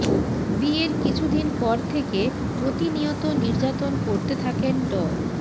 বিয়ের কিছুদিন পর থেকে প্রতিনিয়ত নির্যাতন করতে থাকেন ড